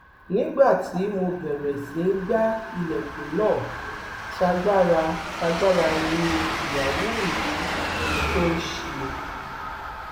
nígbà tí mo bẹrẹ sí í gba ilẹkùn náà tágbáratàgbàrà nìyàwó mi tòò ṣí i